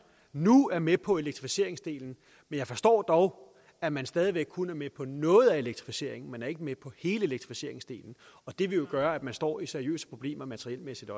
nu er med på elektrificeringsdelen men jeg forstår dog at man stadig væk kun er med på noget af elektrificeringen man er ikke med på elektrificeringsdelen og det vil jo gøre at man står i seriøse problemer materielmæssigt